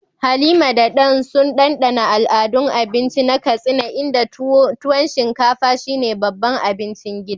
Halima da Dan sun dandana al'adun abinci na Katsina, inda tuwo shinkafa, shine babban abincin gidan